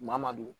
Maa ma don